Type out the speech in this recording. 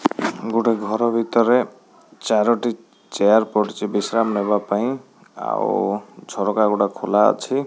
ଗୋଟେ ଘର ଭିତରେ ଚାରୋଟି ଚେୟାର ପଡ଼ିଛି ବିଶ୍ରାମ ନେବା ପାଇଁ ଆଉ ଝରକା ଗୁଡ଼ା ଖୋଲା ଅଛି।